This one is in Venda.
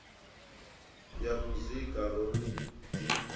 ya muzika ro no ḓi